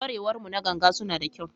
Ƙwarewar mu na ganga suna da kyau.